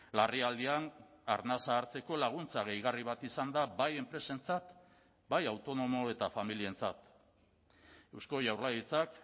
larrialdian arnasa hartzeko laguntza gehigarri bat izan da bai enpresentzat bai autonomo eta familientzat eusko jaurlaritzak